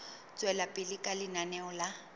tswela pele ka lenaneo la